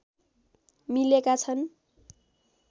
मिलेका छन्